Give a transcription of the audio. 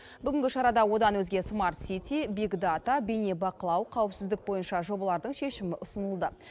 бүгінгі шарада одан өзге смарт сити биг дата бейнебақылау қауіпсіздік бойынша жобалардың шешімі ұсынылды